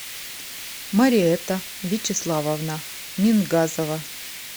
мариэтта вячеславовна мингазова